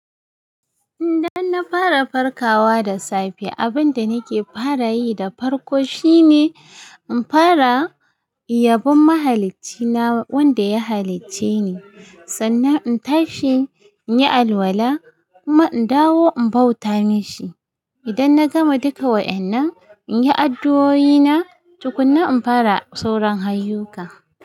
Idan na fara farkawa da safe, abin da nake fara yi da farko shine in fara iyabon mahalaccina wanda ya halicce ni, sannan in tashi in yi alwala kuma in dawo in bauta masa. Idan na gama duka wa'yannan, in yi addu'o'ina tukunna in fara sauran ayyukana.